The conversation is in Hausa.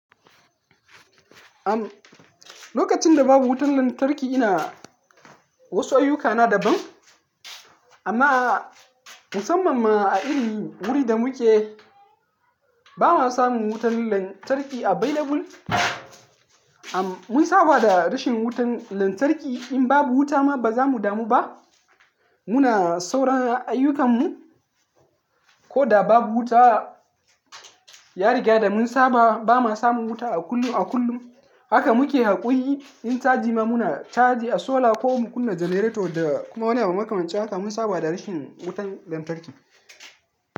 Am, lokacin da babu wutar lantarki ina wasu ayyukana daban. Amma musamman ma a irin wurin da muke ba ma samun wutar lantarki available. Am, mun saba da rashin wutar lantarki. In babu wuta ma ba za mu damu ba. Muna sauran ayyukanmu ko da babu wuta. Ya riga da mun saba. Ba ma samun wuta a kullum a kullum. Haka muke haƙuri. In ca jima muna charge a solar ko mu kunna generator da kuma wani abu muka mance haka mun saba da rashin wutar lantarki.